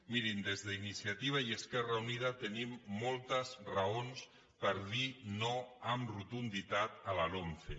mirin des d’iniciativa i esquerra unida tenim moltes raons per dir no amb rotunditat a la lomce